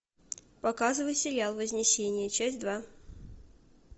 показывай сериал вознесение часть два